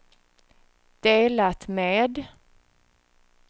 delat med